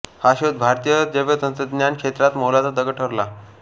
हा शोध भारतीय जैवतंत्रज्ञान क्षेत्रात मैलाचा दगड ठरला